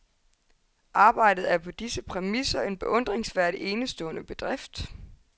Arbejdet er på disse præmisser en beundringsværdig, enestående bedrift.